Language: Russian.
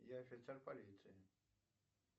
я офицер полиции